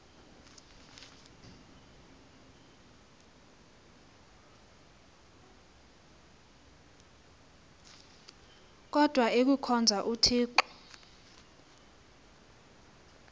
kodwa ikuhkhonza uthixo